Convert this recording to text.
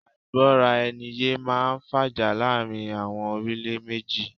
Àìgbọ́ra ẹni yé máá ń fàjà láàrin àwọn orílẹ̀ méjì